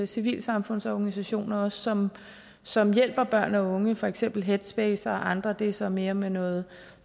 civilsamfundsorganisationer som som hjælper børn og unge for eksempel headspace og andre det er så mere mere noget